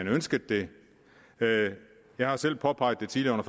ønsket det jeg har selv påpeget det tidligere